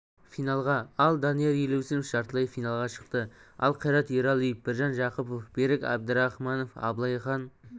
финалға ал данияр елеусінов жартылай финалға шықты ал қайрат ералиев біржан жақыпов берік әбдірахманов абылайхан